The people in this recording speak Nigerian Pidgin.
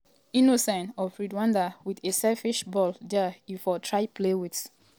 um innocent of rwanda wit a selfish ball dia e for um try play wit